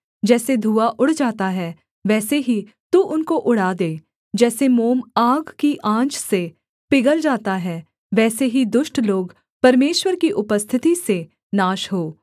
जैसे धुआँ उड़ जाता है वैसे ही तू उनको उड़ा दे जैसे मोम आग की आँच से पिघल जाता है वैसे ही दुष्ट लोग परमेश्वर की उपस्थिति से नाश हों